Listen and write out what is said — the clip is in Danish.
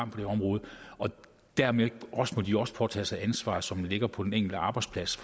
på det område og dermed må de også påtage sig ansvaret som ligger på den enkelte arbejdsplads